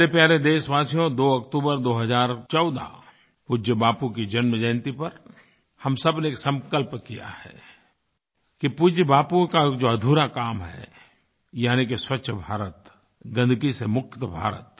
मेरे प्यारे देशवासियो 2 अक्तूबर 2014 पूज्य बापू की जन्म जयन्ती पर हम सब ने संकल्प किया है कि पूज्य बापू का जो अधूरा काम है यानी कि स्वच्छभारत गन्दगी से मुक्तभारत